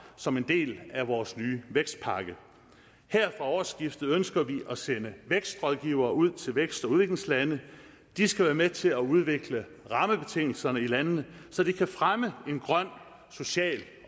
som en del af vores nye vækstpakke her fra årsskiftet ønsker vi at sende vækstrådgivere ud til vækst og udviklingslande de skal være med til at udvikle rammebetingelserne i landene så de kan fremme en grøn social